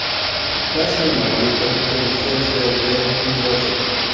Rasmiy Madrid kapitulyatsiyaga imzo chekdi.